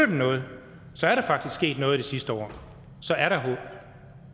noget så er der faktisk sket noget i det sidste år så er der